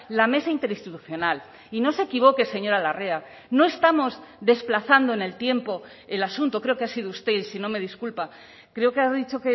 la mesa interinstitucional y no se equivoque señora larrea no estamos desplazando en el tiempo el asunto creo que ha sido usted si no me disculpa creo que ha dicho